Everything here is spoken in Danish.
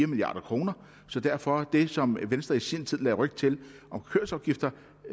milliard kroner så derfor er det som venstre i sin tid lagde ryg til